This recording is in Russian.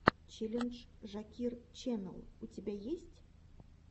челлендж жакир ченэл у тебя есть